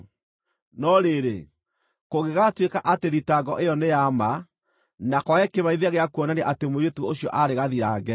No rĩrĩ, kũngĩgaatuĩka atĩ thitango ĩyo nĩ ya ma, na kwage kĩmenyithia gĩa kuonania atĩ mũirĩtu ũcio aarĩ gathirange,